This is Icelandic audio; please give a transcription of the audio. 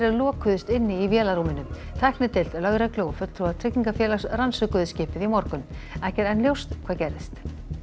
lokuðust inni í vélarrúminu tæknideild lögreglu og fulltrúar tryggingafélags rannsökuðu skipið í morgun ekki er enn ljóst hvað gerðist